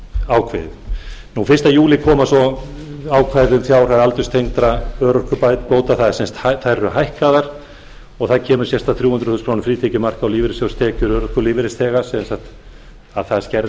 ákveðið fyrsta júlí koma svo ákvæði um fjárhæð aldurstengdra örorkubóta þær eru hækkaðar og það kemur sérstakt þrjú hundruð króna frítekjumark á lífeyristekjur og örorku lífeyrisþega sem sagt þær skerði